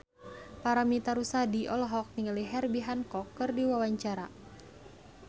Paramitha Rusady olohok ningali Herbie Hancock keur diwawancara